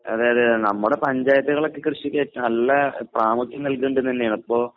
അതെ അതെ അതെ നമ്മുടെ പഞ്ചായത്തുകളൊക്കെ കൃഷിക്ക് നല്ല പ്രാമുഖ്യം നൽകുന്നുണ്ടെന്ന് തന്നെയാണ് ഇപ്പോ